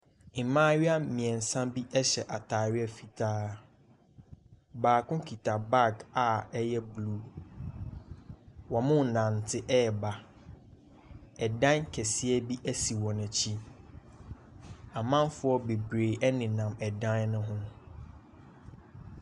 Mmaayewa mmiensa bi hyɛ ataareɛ fitaa. Baako kita bag a ɛyɛ blue. Wɔrenante ba. Ɛdan kɛseɛ bi si wɔn akyi. Amanfoɔ bebree nenam dan no ho.